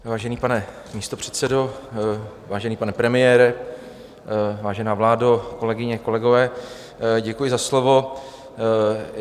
Vážený pane místopředsedo, vážený pane premiére, vážená vládo, kolegyně, kolegové, děkuji za slovo.